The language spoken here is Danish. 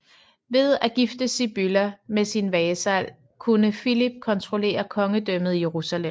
Ved at gifte Sibylla med sin vasal kunne Philip kontrollere Kongedømmet Jerusalem